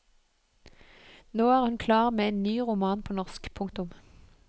Nå er hun klar med en ny roman på norsk. punktum